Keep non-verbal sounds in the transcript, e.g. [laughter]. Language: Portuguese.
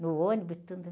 No ônibus [unintelligible]